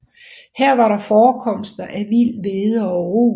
Her var der forekomster af vild hvede og rug